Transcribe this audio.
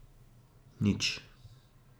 Nič.